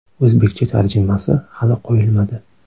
O‘zbekcha tarjimasi hali qo‘yilmadi.